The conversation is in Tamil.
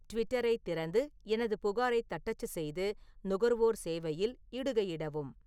ட்விட்டரைத் திறந்து எனது புகாரைத் தட்டச்சு செய்து நுகர்வோர் சேவையில் இடுகையிடவும்